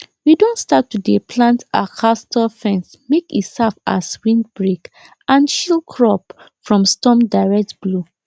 we don start to dey plant um castor fence make e serve as windbreak and shield crop from storm direct blow